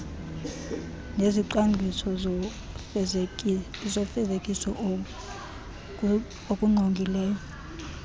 nezicwangciso zofezekiso okusingqongileyo